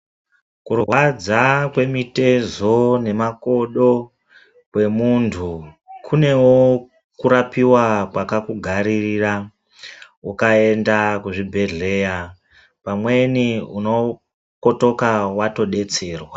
Kurwadza kweitezo nemakodo kwemunhu kunewo kurapiwa kwakakugaririra ukaenda kuzvibhehleya pamweni unokotoka watodetserwa.